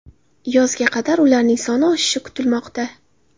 Yozga qadar ularning soni oshishi kutilmoqda.